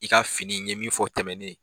I ka fini n ɲe min fɔ tɛmɛnen